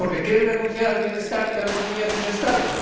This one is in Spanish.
¿Porque quieren renunciar al bienestar y a la economía de sus Estados?